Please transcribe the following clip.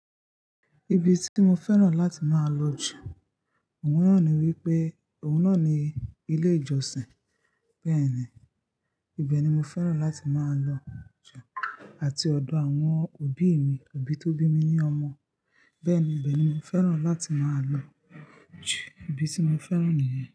Ibi tí mo fẹ́ràn láti máa lọ jù, òun náà ni wípé, òun náà ni ilé ìjọsìn. Bẹ́ẹ̀ni, ibẹ̀ ni mo fẹ́ràn láti máa lọ jù àti ọ̀dọ̀ àwọn òbí mi, òbí tó bí mi ní ọmọ. Bẹ́ẹ̀ni, ibẹ̀ ni mo fẹ́ràn láti máa lọ jù. Ibi tí mo fẹ́ràn nìyẹn.